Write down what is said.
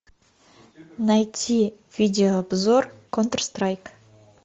найти видеообзор контр страйк